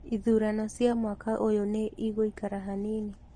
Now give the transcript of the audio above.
Ithurano cia mwaka ũyũ nĩ igũikara hanini